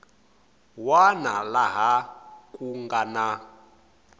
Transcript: wana laha ku nga na